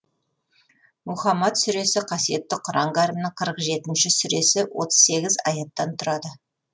мұһаммәд сүресі қасиетті құран кәрімнің қырық жетінші сүресі отыз сегіз аяттан тұрады